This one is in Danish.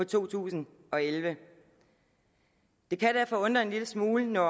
to tusind og elleve det kan derfor undre en lille smule når